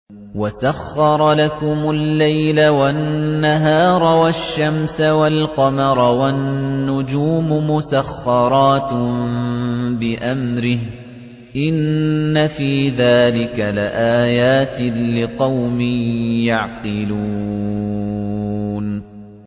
وَسَخَّرَ لَكُمُ اللَّيْلَ وَالنَّهَارَ وَالشَّمْسَ وَالْقَمَرَ ۖ وَالنُّجُومُ مُسَخَّرَاتٌ بِأَمْرِهِ ۗ إِنَّ فِي ذَٰلِكَ لَآيَاتٍ لِّقَوْمٍ يَعْقِلُونَ